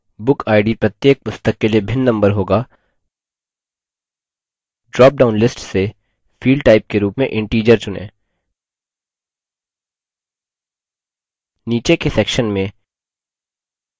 क्योंकि bookid प्रत्येक पुस्तक के लिए भिन्न number होगा ड्रापडाउन list से field type के रूप में integer चुनें